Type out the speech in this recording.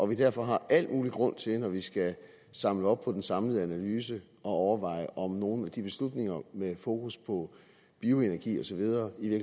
vi derfor har al mulig grund til når vi skal samle op på den samlede analyse at overveje om nogle af de beslutninger med fokus på bioenergi og så videre i